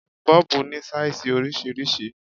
Bọ́ọ̀bù ní sáìsì oríṣiríṣi.